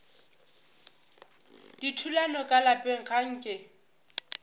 dithulano ka lapeng ga nke